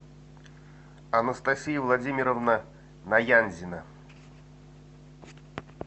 анастасия владимировна наянзина